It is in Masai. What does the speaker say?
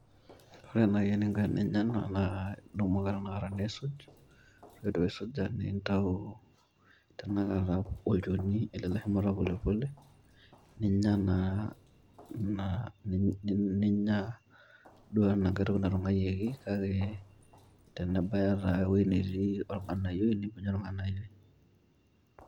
Ore nai eninko teninya naa idumu ake nisuj .ore pindip aisuja ,mintayu olchoni ele polepole ,ninya naa ,ninya enankae toki natungwayioki kake tenebaya taa ewueji netii organayioy niminya organayioy.